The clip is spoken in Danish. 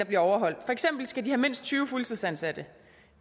bliver overholdt for eksempel skal de have mindst tyve fuldtidsansatte